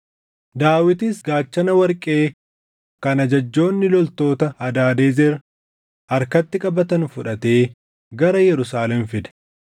Daawitis gaachana warqee kan ajajjoonni loltoota Hadaadezer harkatti qabatan fudhatee gara Yerusaalem fide.